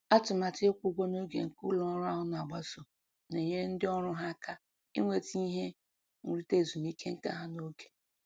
Atụmatụ ịkwụ ụgwọ n'oge nke ụlọ ọrụ ahụ na-agbaso na-enyere ndị ọrụ ha aka inweta ihe nrita ezumike nka ha n'oge